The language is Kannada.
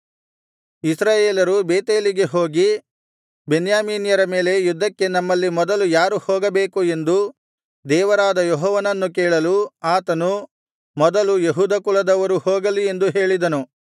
ಇಸ್ರಾಯೇಲ್ಯರು ಬೇತೇಲಿಗೆ ಹೋಗಿ ಬೆನ್ಯಾಮೀನ್ಯರ ಮೇಲೆ ಯುದ್ಧಕ್ಕೆ ನಮ್ಮಲ್ಲಿ ಮೊದಲು ಯಾರು ಹೋಗಬೇಕು ಎಂದು ದೇವರಾದ ಯೆಹೋವನನ್ನು ಕೇಳಲು ಆತನು ಮೊದಲು ಯೆಹೂದ ಕುಲದವರು ಹೋಗಲಿ ಎಂದು ಹೇಳಿದನು